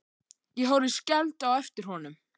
Ég horfi skelfd á eftir honum.